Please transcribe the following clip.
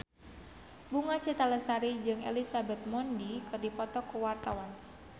Bunga Citra Lestari jeung Elizabeth Moody keur dipoto ku wartawan